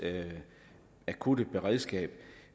akutberedskab